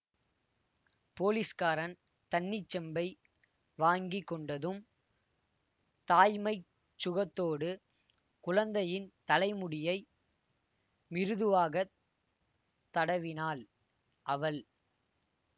போலீஸ்காரன் தண்ணீர்ச் செம்பை வாங்கி கொண்டதும் தாய்மைச் சுகத்தோடு குழந்தையின் தலைமுடியை மிருதுவாகத் தடவினாள் அவள்